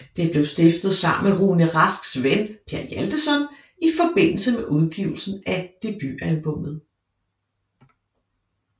Det blev stiftet sammen med Rune Rasks ven Per Hjaltason i forbindelse med udgivelsen af debutalbummet